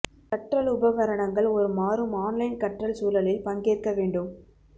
கற்றல் உபகரணங்கள் ஒரு மாறும் ஆன்லைன் கற்றல் சூழலில் பங்கேற்க வேண்டும்